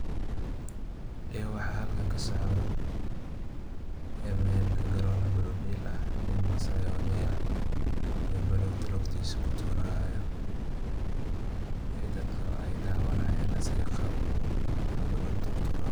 Ee waxa halkan kasocdoh ee meel karoon banoon del aah nin maassay oo udeey ah iyo bononta lugtisa tuurayo eyo dadka dawanayeen asago iyo qaabku boonta uturayo.